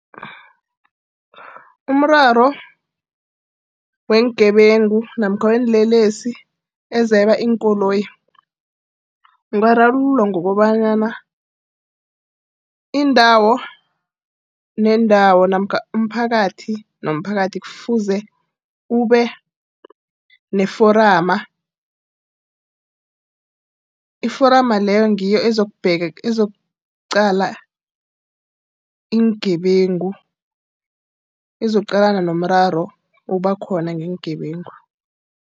Umraro weengebengu namkha weenlelesi ezeba iinkoloyi, ungararululwa ngokobanyana indawo nendawo namkha umphakathi nomphakathi kufuze ube neforuma. Iforama leyo ngiyo ezokuqala iingebengu. Izokuqalana nomraro obakhona ngeengebengu.